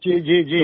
जी जी जी